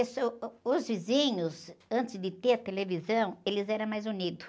ãh, uh, os vizinhos, antes de ter televisão, eles eram mais unidos.